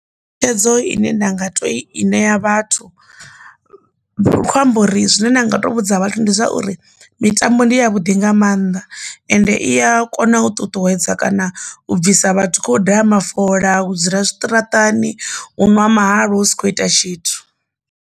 Netshedzo ine nda nga to i ṋea vhathu ndi kho amba uri zwine nda nga to vhudza vhathu ndi zwauri mitambo ndi ya vhuḓi nga mannḓa ende iya kona u ṱuṱuwedza kana u bvisa vhathu khou daha mafola u dzula zwiṱaraṱani hu ṅwa mahalwa u si khou ita tshithu.